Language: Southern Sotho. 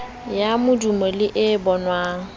ya modumo le e bonwang